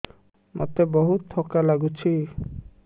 ମୋତେ ବହୁତ୍ ଥକା ଲାଗୁଛି